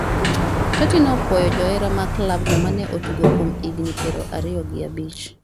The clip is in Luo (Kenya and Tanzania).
Totti ne opuoyo johera mag klabno mane otugone kuom higni piero ariyo gi abich